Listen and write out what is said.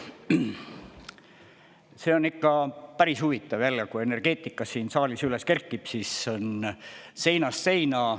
See on ikka päris huvitav jälle, kui energeetika siin saalis üles kerkib, siis on seinast seina.